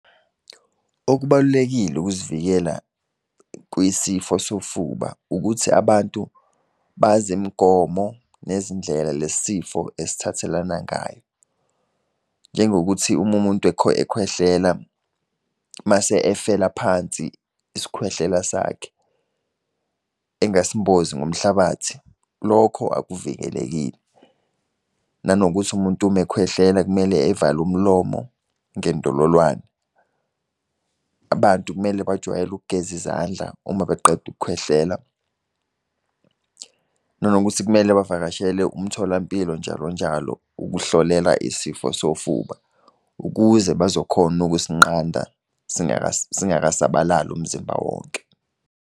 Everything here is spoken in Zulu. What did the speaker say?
Okubalulekile ukuzivikela kuyisifo sofuba, ukuthi abantu bazi imigomo nezindlela lesi sifo esithathelana ngayo. Njengokuthi uma umuntu ekhwehlela mase efela phansi isikhwehlela sakhe, engasimbozi ngomhlabathi, lokho akuvikelekile. Nanokuthi umuntu uma ekhwehlela kumele evale umlomo ngendololwane. Abantu kumele bajwayele ukugeza izandla uma beqeda ukukhwehlela. Nanokuthi kumele bavakashele umtholampilo njalo njalo ukuhlolela isifo sofuba, ukuze bazokhona ukusinqanda singakasabalali umzimba wonke.